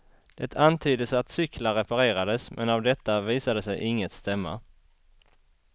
Det antyddes att cyklar reparerades, men av detta visade sig inget stämma.